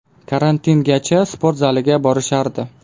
Karantingacha sport zaliga borishardi.